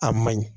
A ma ɲi